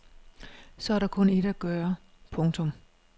Så er der kun ét at gøre. punktum